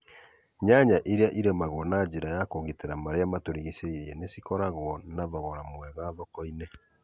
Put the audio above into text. Nyanya iria irĩmagũo na njĩra ya kũgitĩra marĩa matũrigicĩirie nĩcikoragũo na thorogora mwega thoko-inĩ